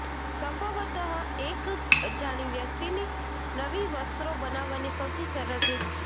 સંભવતઃ એક અજાણી વ્યક્તિની નવી વસ્ત્રો બનાવવાની સૌથી સરળ રીત છે